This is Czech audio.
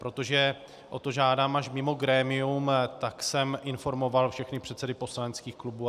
Protože o to žádám až mimo grémium, tak jsem informoval všechny předsedy poslaneckých klubů.